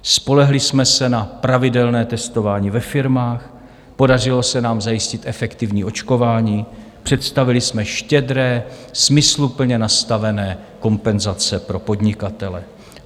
Spolehli jsme se na pravidelné testování ve firmách, podařilo se nám zajistit efektivní očkování, představili jsme štědré, smysluplně nastavené kompenzace pro podnikatele.